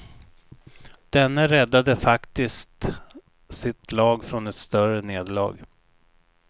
Denne räddade faktiskt sitt lag från ett större nederlag.